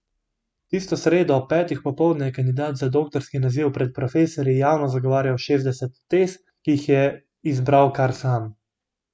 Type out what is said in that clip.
Tisto sredo ob petih popoldne je kandidat za doktorski naziv pred profesorji javno zagovarjal šestdeset tez, ki si jih je izbral kar sam.